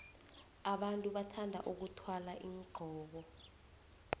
abantu bathanda vkuthwala iinqoko